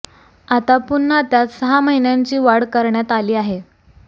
आता पुन्हा त्यात सहा महिन्यांची वाढ करण्यात आली आहे